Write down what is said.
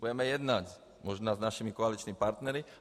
Budeme jednat, možná s našimi koaličními partnery.